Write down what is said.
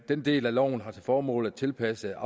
den del af loven har til formål at tilpasse